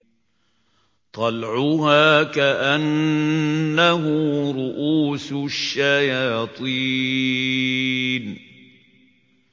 طَلْعُهَا كَأَنَّهُ رُءُوسُ الشَّيَاطِينِ